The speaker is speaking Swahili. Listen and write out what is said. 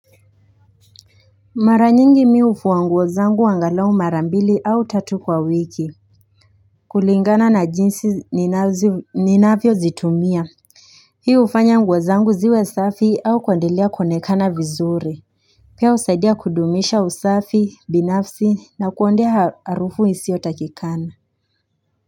Maranyingi mimi hufua nguo zangu angalau mara mbili au tatu kwa wiki kulingana na jinsi ninavyo zitumia Hii hufanya nguo zangu ziwe safi au kuendelea kuonekana vizuri Pia husaidia kudumisha usafi binafsi na kuondoa harufu isiyo takiwa.